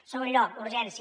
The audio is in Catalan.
en segon lloc urgència